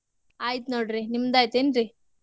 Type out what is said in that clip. ಆಯಿತ್ ನೋಡ್ರಿ ನಿಮ್ದ್ ಆಯಿತನ್ರೀ?